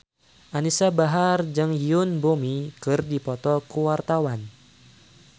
Anisa Bahar jeung Yoon Bomi keur dipoto ku wartawan